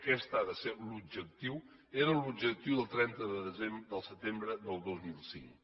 aquest ha de ser l’objectiu era l’objectiu del trenta de setembre del dos mil cinc